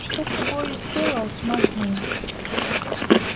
что с тобою сделалось мать моя